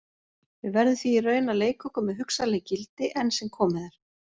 Við verðum því í raun að leika okkur með hugsanleg gildi, enn sem komið er.